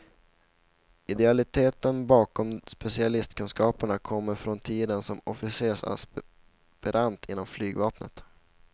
Idealiteten bakom specialistkunskaperna kommer från tiden som officersaspirant inom flygvapnet.